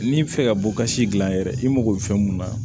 N'i bi fɛ ka bɔ ka si gilan yɛrɛ i mago bɛ fɛn mun na